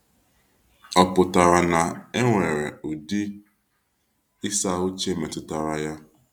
Ọ pụtara na enwere ụdị ịsa uche metụtara ya?